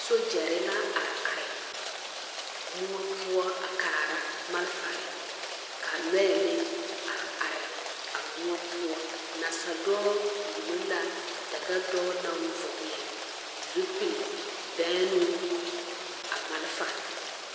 Sogyɛre la are are moɔ poɔ a kaara malfare ka lɔɛ meŋ are are a moɔ poɔ nasadɔɔ wullo la dagadɔɔ naŋ vɔgle zupilbɛŋnoo a malfa.